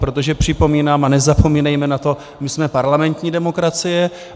Protože připomínám, a nezapomínejme na to, my jsme parlamentní demokracie.